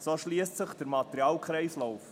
so schliesst sich der Materialkreislauf.